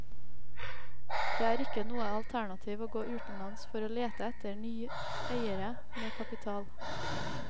Det er ikke noe alternativ å gå utenlands for å lete etter ny eiere med kapital.